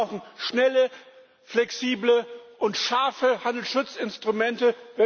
Wir brauchen schnelle, flexible und scharfe Handelsschutzinstrumente.